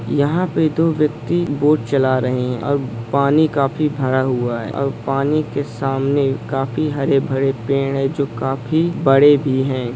यहाँ पे दो व्यक्ति बोट चला रहे है और पानी काफ़ी भरा हुआ है और पानी के सामने काफ़ी हरे -भरे पेड़ है जो काफ़ी बड़े भी हैं।